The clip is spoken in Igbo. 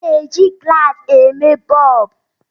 a na-eji gụlàsị eme bọlbụ